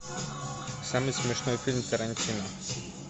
самый смешной фильм тарантино